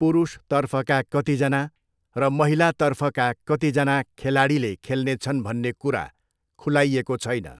पुरुषतर्फका कतिजना र महिलातर्फका कतिजना खेलाडीले खेल्नेछन् भन्ने कुरा खुलाइएको छैन।